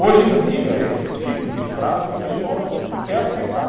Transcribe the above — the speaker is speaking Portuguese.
Hoje em dia, esse tipo de frase o pessoal já não quer aceitar.